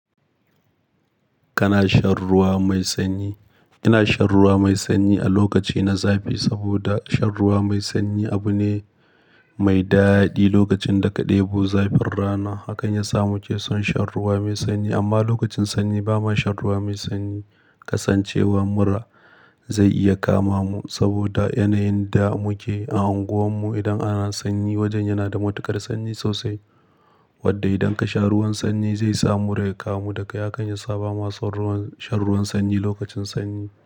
Kana shan ruwa mai sanyi. Ina shan ruwa mai sanyi a lokaci na zafi saboda shan ruwa mai sanyi abu ne mai daɗi lokacin da ka ɗebo zafin rana. Hakan ya sa muke son shan ruwa mai sanyi. Amma lokacin sanyi ba ma shan ruwa mai sanyi kasancewar mura zai iya kama mu saboda yanayin da muke a unguwarmu. Idan ana sanyi, wajen yana da matuƙar sanyi sosai wadda idan ka sha ruwan sanyi zai sa mura ya kamu dakai hakan ya saba masu shan ruwan sanyi lokacin sanyi.